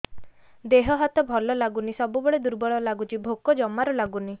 ଦେହ ହାତ ଭଲ ଲାଗୁନି ସବୁବେଳେ ଦୁର୍ବଳ ଲାଗୁଛି ଭୋକ ଜମାରୁ ଲାଗୁନି